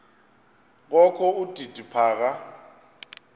kokho udidi phaka